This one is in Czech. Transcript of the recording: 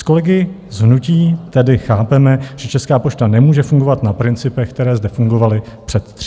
S kolegy z hnutí tedy chápeme, že Česká pošta nemůže fungovat na principech, které zde fungovaly před 30 lety.